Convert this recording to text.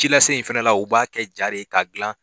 Ci lase in fana la u b'a kɛ ja de ye k'a dilan